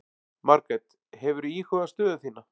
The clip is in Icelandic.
Margrét: Hefurðu íhugað stöðu þína?